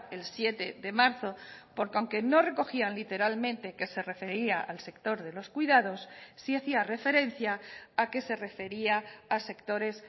el siete de marzo porque aunque no recogían literalmente que se refería al sector de los cuidados sí hacía referencia a que se refería a sectores